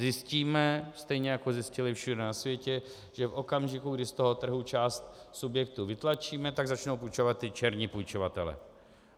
Zjistíme stejně, jako zjistili všude na světě, že v okamžiku, kdy z toho trhu část subjektů vytlačíme, tak začnou půjčovat ti černí půjčovatelé.